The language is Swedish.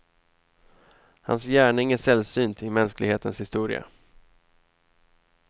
Hans gärning är sällsynt i mänsklighetens historia.